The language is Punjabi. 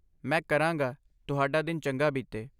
ਮੈਂ ਕਰਾਂਗਾ ਤੁਹਾਡਾ ਦਿਨ ਚੰਗਾ ਬੀਤੇ